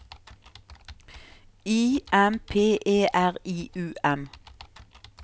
I M P E R I U M